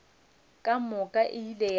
ka moka e ile ya